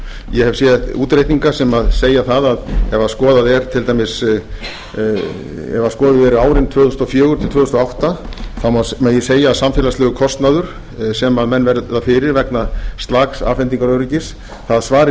ég hef séð útreikninga sem segja það að ef skoðuð eru árin tvö þúsund og fjögur til tvö þúsund og átta þá megi segja að samfélagslegur kostnaður sem menn verða fyrir vegna slaks afhendingaröryggis það svari